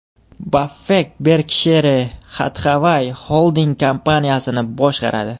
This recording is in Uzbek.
Baffett Berkshire Hathaway xolding kompaniyasini boshqaradi.